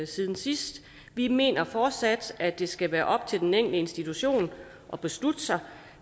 siden sidst vi mener fortsat at det skal være op til den enkelte institution at beslutte sig